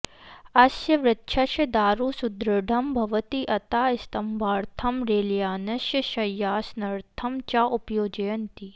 अस्य वृक्षस्य दारु सुदृढं भवति अतः स्तम्भार्थं रेल्यानस्य शय्यासनर्थं च उपयोजयन्ति